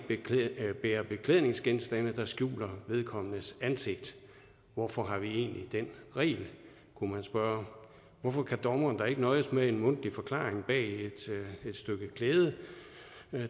bære beklædningsgenstande der skjuler ansigtet hvorfor har vi egentlig den regel kunne man spørge hvorfor kan dommeren da ikke nøjes med en mundtlig forklaring bag et stykke klæde